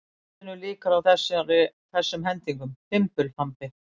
Erindinu lýkur á þessum hendingum: Fimbulfambi